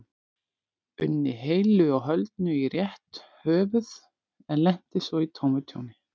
unni heilu og höldnu í rétt höfuð en lenti svo í tómu tjóni.